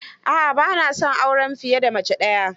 A'a, ba na son auren fiye da mace daya.